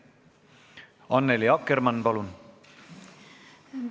Annely Akkermann, palun!